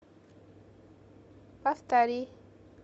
повтори